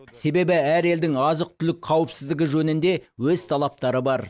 себебі әр елдің азық түлік қауіпсіздігі жөнінде өз талаптары бар